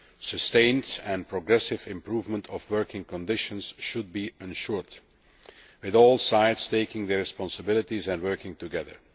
Sustained and progressive improvement of working conditions should be ensured, with all sides taking their responsibilities and working together.